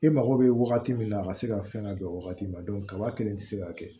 E mago bɛ wagati min na a ka se ka fɛn ka don wagati min na kaba kelen tɛ se ka kɛ